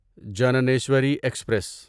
Jnaneswari express